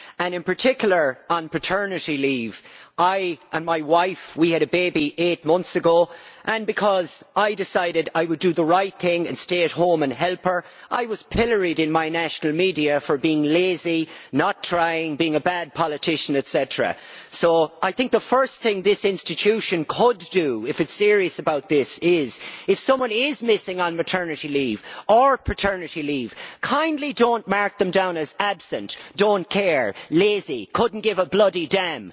In particular, on paternity leave, my wife and I had a baby eight months ago and, because I decided I would do the right thing and stay at home and help her, I was pilloried in my national media for being lazy, for not trying and for being a bad politician, etc. So I think the first thing this institution could do, if it is serious about this, would be, if someone is missing on maternity leave or paternity leave, kindly not to mark them down as absent, don't care, lazy, couldn't give a bloody damn'.